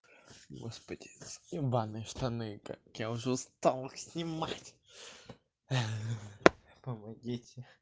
господи ебаные штаны как я уже устал их снимать помогите